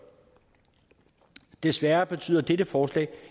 desværre betyder dette forslag